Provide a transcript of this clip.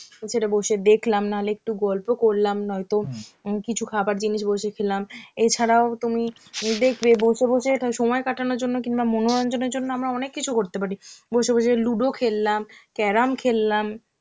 সেটা বসে দেখলাম নাহলে একটু গল্প করলাম নয়তো উম এবং কিছু খাবার জিনিস বসে খেলাম, এছাড়াও তুমি দেখবে বসে বসে সময় কাটানোর জন্য কিংবা মনোরঞ্জনের জন্য আমরা অনেক কিছু করতে পারি বসে বসে ludo খেললাম, carrom খেললাম,